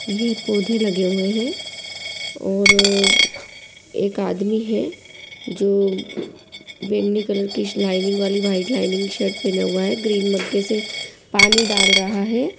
ये पौधे लगे हुवे है और एक आदमी है जो बेगनी कलर के लाइनिंग वाली व्हाइट लाइनिंग शर्ट पेहना हुवा है ग्रीन मग से पानी डाल रहा है।